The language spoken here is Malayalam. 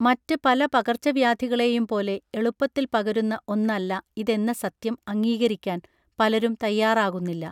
മറ്റ് പല പകർച്ചവ്യാധികളെയും പോലെ എളുപ്പത്തിൽ പകരുന്ന ഒന്നല്ല ഇതെന്ന സത്യം അംഗീകരിക്കാൻ പലരും തയ്യാറാകുന്നില്ല